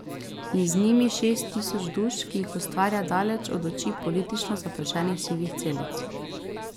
In z njimi šest tisoč duš, ki jih ustvarja daleč od oči politično zaprašenih sivih celic.